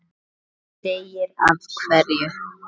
Enginn segir af hverju.